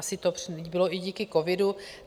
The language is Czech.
Asi to bylo i díky covidu.